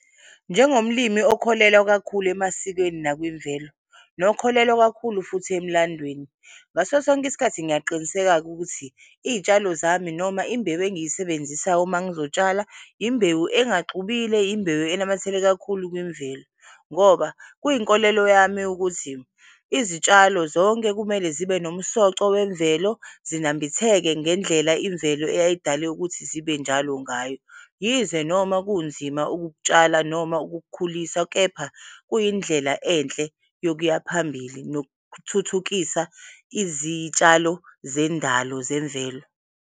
Njengomlimi okholelwa kakhulu emasikweni nakwimvelo nokholelwa kakhulu futhi emlandweni ngaso sonke isikhathi ngiyaqiniseka-ke ukuthi iy'tshalo zami noma imbewu engiyisebenzisayo mangizotshala imbewu engaxubile, imbewu enamathele kakhulu kwimvelo ngoba kwinkolelo yami ukuthi izitshalo zonke kumele zibe nomsoco wemvelo, zinambitheke ngendlela imvelo eyayidale ukuthi zibenjalo ngayo. Yize noma kunzima ukukutshala noma ukukukhulisa, kepha kuyindlela enhle yokuyaphambili nokuthuthukisa izitshalo zendalo zemvelo.